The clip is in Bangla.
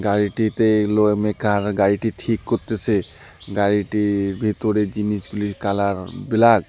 গাড়িটিতে মেকার গাড়িটি ঠিক করতেসে গাড়িটির ভেতরে জিনিসগুলির কালার ব্ল্যাক ।